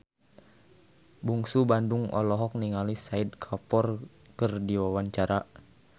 Bungsu Bandung olohok ningali Shahid Kapoor keur diwawancara